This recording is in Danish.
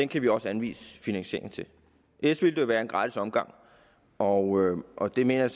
kan vi også anvise finansiering til ellers ville det jo være en gratis omgang og og det mener jeg